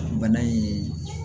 Bana in